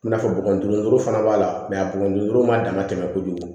I n'a fɔ buguni yɔrɔ fana b'a la a bɔgɔ ma dama tɛmɛ kojugu